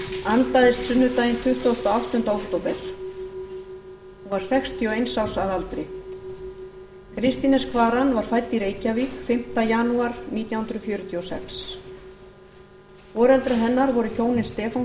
andaðist sunnudaginn tuttugasta og áttunda október hún var sextíu og eins árs að aldri kristín s kvaran var fædd í reykjavík fimmta janúar nítján hundruð fjörutíu og sex foreldrar hennar voru hjónin stefán